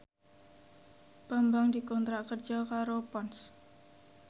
Bambang dikontrak kerja karo Ponds